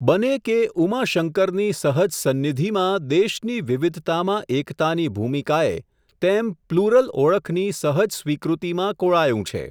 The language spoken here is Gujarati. બને કે ઉમાશંકરની સહજ સંનિધિમાં દેશની વિવિધતામાં એકતાની ભૂમિકાએ, તેમ પ્લુરલ ઓળખની સહજ સ્વીકૃતિમાં કોળાયું છે.